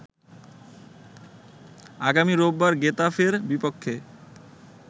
আগামী রোববার গেতাফের বিপক্ষে